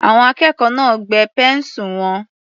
Àwọn akẹ́kọ̀ọ́ náà gbẹ́ pẹ́ńsù wọn.